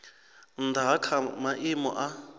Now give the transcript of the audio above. nnda ha kha maimo a